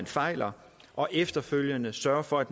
fejler og efterfølgende sørger for at